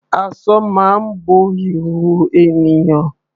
Aṣọ máa ń bo ìhòòhò ènìyàn.